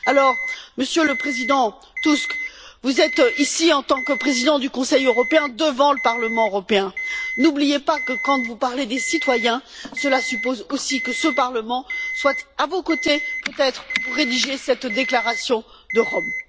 Alors, Monsieur le Président Tusk, vous êtes ici en tant que Président du Conseil européen, devant le Parlement européen, n'oubliez pas que quand vous parlez des citoyens cela suppose aussi que ce Parlement soit à vos côtés, peut être, pour rédiger cette déclaration de Rome.